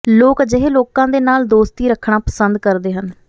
ਲੋਕ ਅਜਿਹੇ ਲੋਕਾਂ ਦੇ ਨਾਲ ਦੋਸਤੀ ਰੱਖਣਾ ਪਸੰਦ ਕਰਦੇ ਹਨ